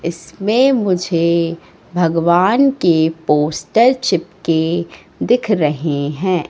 इसमें मुझे भगवान के पोस्टर चिपके दिख रहें हैं।